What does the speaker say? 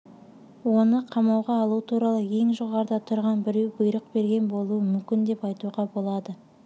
оны қамауға алу туралы ең жоғарыда тұрған біреу бұйрық берген болуы мүмкін деп айтуға болады